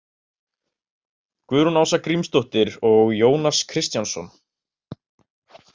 Guðrún Ása Grímsdóttir og Jónas Kristjánsson.